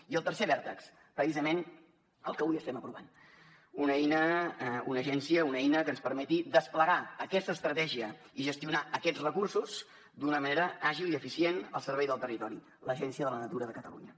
i el tercer vèrtex precisament el que avui estem aprovant una agència una eina que ens permeti desplegar aquesta estratègia i gestionar aquests recursos d’una manera àgil i eficient al servei del territori l’agència de la natura de catalunya